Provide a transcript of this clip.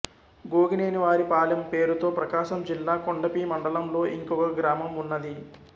గోగినేనివారిపాలెం పేరుతో ప్రకాశం జిల్లా కొండపి మండలం లో ఇంకొక గ్రామం ఉన్నది